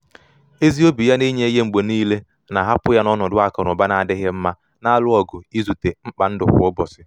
ezi obi ya na inye ihe mgbe niile na-ahapụ ya n’ọnọdụ akụ na ụba na-adịghị mma na-alụ ọgụ izute mkpa ndụ kwa ụbọchị.